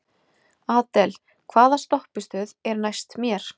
Adel, hvaða stoppistöð er næst mér?